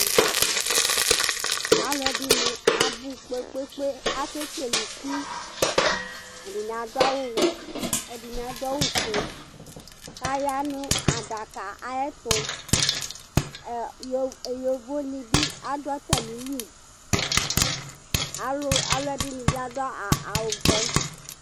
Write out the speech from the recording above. Alu ɛɖinɩ abu kpe kpe kpe Ake kele ɩku Ɛɖɩnɩ aɖu awu wɛ, ɛɖɩni aɖo awu foe Kaya nu aɖaka ayɛtu E yovo eyovonɩ bɩ aɖu atamɩlɩ Alu alu ɛɖɩnɩ bɩ aɖu awu buɛ